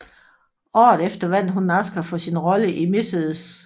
Året efter vandt hun en Oscar for sin rolle i Mrs